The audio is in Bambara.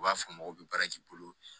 U b'a fɔ mɔgɔw bɛ baara k'i bolo